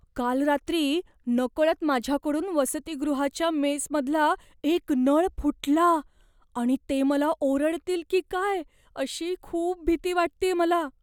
काल रात्री नकळत माझ्याकडून वसतिगृहाच्या मेसमधला एक नळ फुटला, आणि ते मला ओरडतील की काय अशी खूप भीती वाटतेय मला.